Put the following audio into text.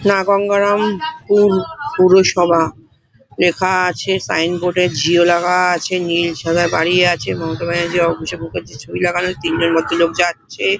এটা গঙ্গারামপুর পৌরসভা | লেখা আছে সাইন বোর্ডে | জিও লেখা আছে | নীল সাদা দাঁড়িয়ে আছে | মমতা ব্যানার্জী অভিষেক মুখার্জীর ছবি লাগা রয়েছে | তিনজন ভদ্রলোক যাচ্ছে।